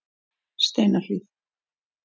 Steinahlíð